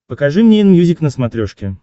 покажи мне энмьюзик на смотрешке